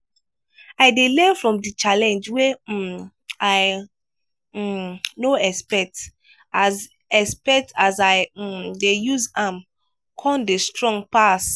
i dey learn from di challenge wey um i um no expect as expect as i um dey use am con dey strong pass.